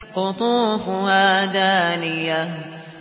قُطُوفُهَا دَانِيَةٌ